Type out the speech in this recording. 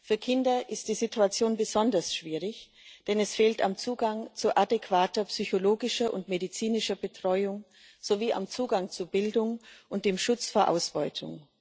Für Kinder ist die Situation besonders schwierig, denn es fehlt am Zugang zu adäquater psychologischer und medizinischer Betreuung sowie am Zugang zu Bildung und am Schutz vor Ausbeutung.